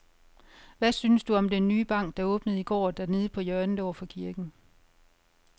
Hvad synes du om den nye bank, der åbnede i går dernede på hjørnet over for kirken?